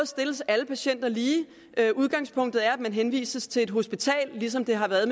stilles alle patienter lige udgangspunktet er at man henvises til et hospital ligesom det har været